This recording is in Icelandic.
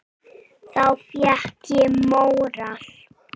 Þá fékk ég móral.